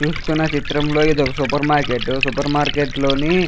చూస్తున్న చిత్రంలో ఇదొక సూపెర్మార్కెటు సుప్ర్మార్కెట్ లోని --